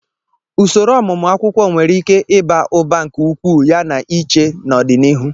Usoro ọmụmụ akwukwo nwere ike ịba ụba nke ukwuu yana iche n'ọdịnihu.